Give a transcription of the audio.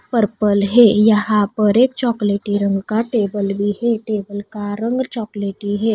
Purple है यहां पर एक चॉकलेटी रंग का टेबल भी है टेबल का रंग चॉकलेटी है।